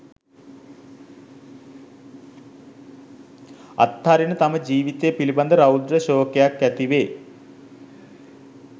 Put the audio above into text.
අත්හරින තම ජීවිතය පිළිබඳ රෞද්‍ර ශෝකයක් ඇතිවේ